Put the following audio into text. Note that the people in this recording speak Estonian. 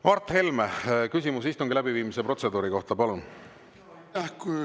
Mart Helme, küsimus istungi läbiviimise protseduuri kohta, palun!